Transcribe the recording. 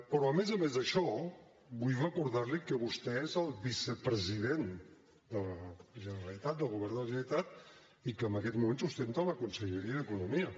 però a més a més d’això vull recordar li que vostè és el vicepresident de la generalitat del govern de la generalitat i que en aquests moments ostenta la conselleria d’economia